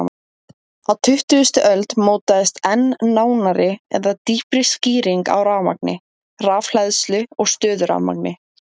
Á tuttugustu öld mótaðist enn nánari eða dýpri skýring á rafmagni, rafhleðslu og stöðurafmagni.